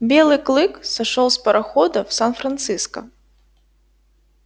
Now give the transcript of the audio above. белый клык сошёл с парохода в сан франциско